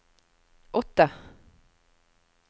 åtte